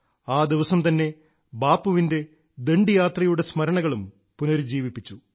ആ ദിവസം തന്നെ ബാപ്പുവിന്റെ ദണ്ഡിയാത്രയുടെ സ്മരണകളും പുനരുജ്ജീവിപ്പിച്ചു